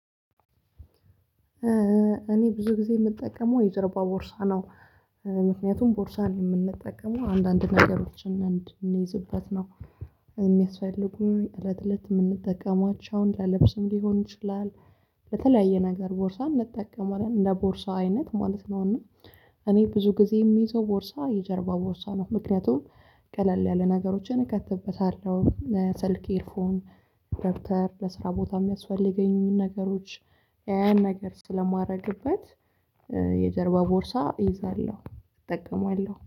እኔ ብዙ ጊዜ የምጠቀመው የጀርባ ቦርሳ ነው። ምክንያቱም ቦርሳን የምንጠቀመው አንዳንድ ነገሮችን እንድንይዝበት ነው። የሚያስፈልጉኝ እለት እለት የምንጠቀሟቸውን ለልብስም ሊሆን ይችላል። በተለያየ ነገር ቦርሳ እንጠቀማለን እንደ ቦርሳ አይነት ማለት ነውና። እኔ ብዙ ጊዜ የሚይዘው ቦርሳ የጀርባ ቦርሳ ነው። ምክንያቱም ቀለል ያለ ነገሮችን እከትበታለሁ ለሰልኬ ፎን ደብተር ለስራ ቦታ የሚያስፈልገኝን ነገሮች ያን ነገር ስለማደርግበት። የጀርባ ቦርሳ እይዛለሁ እጠቀማለሁ